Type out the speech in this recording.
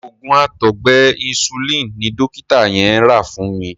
Òògùn àtọgbẹ Insulin ni dọ́kítà yẹn rà fún mi.